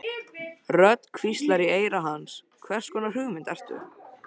Rödd hvíslar í eyra hans: Hvers konar hugmynd ertu?